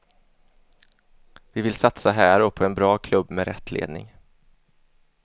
Vi vill satsa här och på en bra klubb med rätt ledning.